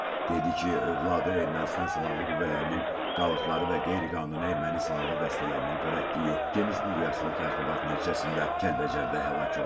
övladı Ermənistan silahlı qüvvələrinin qalıqları və qeyri-qanuni erməni silahlı dəstələrinin törətdiyi genişmiqyaslı təxribat nəticəsində Kəlbəcərdə həlak olub.